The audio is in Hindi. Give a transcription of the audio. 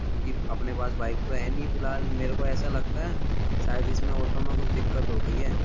क्योंकि अपने पास बाइक तो है नहीं फिलहाल मेरे को ऐसा लगता है शायद इसमें ऑटो में कुछ दिक्कत हो गई है।